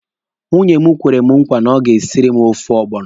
Nwunye m kwere mụ nkwa na o ga-esiri m ofe ọgbọnọ.